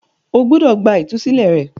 o gbúdọ̀ gba “ ìtúsílẹ̀ ” rẹ.